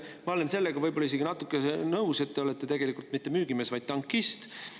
Ma olen sellega võib-olla isegi natuke nõus, sest te ei ole tegelikult mitte müügimees, vaid tankist.